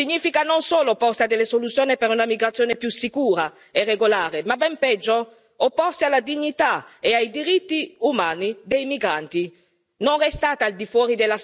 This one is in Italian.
Opporsi al patto globale significa non solo opporsi a delle soluzioni per una migrazione più sicura e regolare, ma ben peggio opporsi alla dignità e ai diritti umani dei migranti!